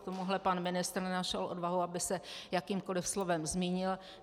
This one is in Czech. K tomuhle pan ministr nenašel odvahu, aby se jakýmkoli slovem zmínil.